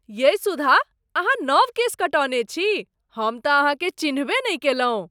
यै सुधा, अहाँ नब केश कटौने छी! हम त अहाँकेँ चिन्हबे नहि कयलहुँ!